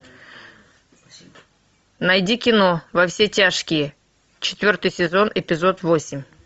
найди кино во все тяжкие четвертый сезон эпизод восемь